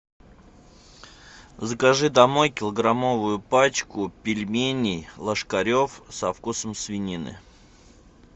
закажи домой килограммовую пачку пельменей ложкарев со вкусом свинины